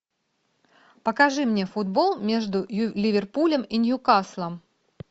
покажи мне футбол между ливерпулем и ньюкаслом